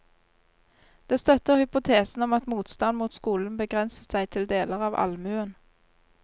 Det støtter hypotesen om at motstand mot skolen begrenset seg til deler av allmuen.